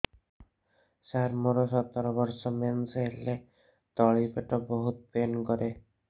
ସାର ମୋର ସତର ବର୍ଷ ମେନ୍ସେସ ହେଲେ ତଳି ପେଟ ବହୁତ ପେନ୍ କରେ